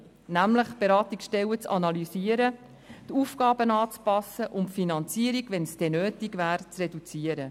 Nämlich: Beratungsstellen zu analysieren, die Aufgaben anzupassen und wenn nötig, die Finanzierung zu reduzieren.